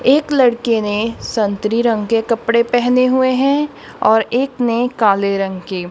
एक लड़के ने संतरी रंग के कपड़े पेहने हुएं हैं और एक ने काले रंग के।